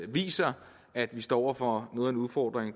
viser at vi står over for noget af en udfordring